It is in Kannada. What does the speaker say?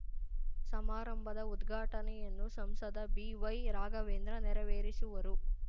ಸಮಾರಂಭದ ಉದ್ಘಾಟನೆಯನ್ನು ಸಂಸದ ಬಿ ವೈರಾಘವೇಂದ್ರ ನೆರವೇರಿಸುವರು